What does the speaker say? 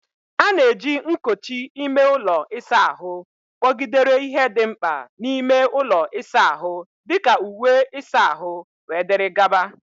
A na-eji nkochi ime ụlọ ịsa ahụ kpọgidere ihe dị mkpa n'ime ụlọ ịsa ahụ dị ka uwe ịsa ahụ, wdg.